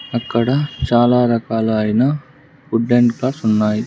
అక్కడ చాలా రకాలైన ఫుడ్ అండ్ కాస్ట్ ఉన్నాయి.